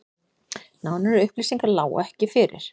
Nánari upplýsingar lágu ekki fyrir